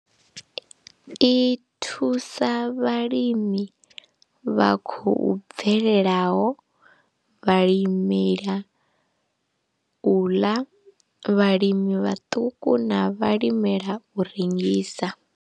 I thusa vhalimi vha khou bvelelaho, vhalimela u ḽa, vhalimi vhaṱuku na vhalimela u rengisa.